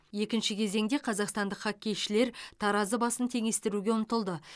екінші кезеңде қазақстандық хоккейшілер таразы басын теңестіруге ұмтылды